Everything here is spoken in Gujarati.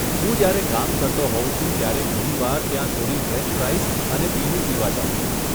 હું જયારે કામ કરતો હોઉં છું ત્યારે ઘણી વાર ત્યાં થોડી ફ્રેંચ ફ્રાઈઝ અને પીણું પીવા જાઉં છું.